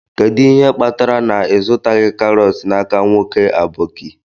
Kedu ihe kpatara na ị zụtaghị karọt n'aka nwoke aboki?